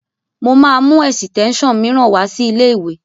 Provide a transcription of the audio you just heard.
Mo máa mú ẹ̀sítẹ́nsàn mìíràn wá sí ilé-ìwé